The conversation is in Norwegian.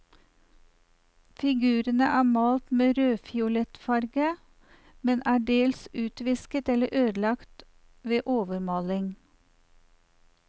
Figurene er malt med rødfiolett farge, men er dels utvisket eller ødelagt ved overmaling.